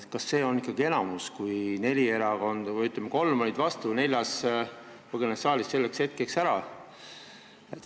Kas see ikka on enamus, kui kolm erakonda oli vastu ja neljas põgenes saalist hääletamise hetkeks ära?